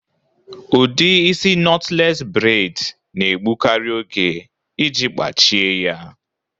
Udi isị nọtles bred na-egbukari oge iji kpachie ya